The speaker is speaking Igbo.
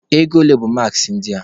Ego ole bụ maaskị ndị a?